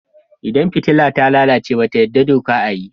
Idan fitila ta lalace doka ba ta yadda a yi.